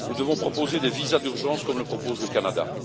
Nous devons proposer des visas d'urgence, comme le propose le Canada.